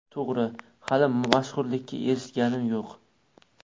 To‘g‘ri, hali mashhurlikka erishganim yo‘q.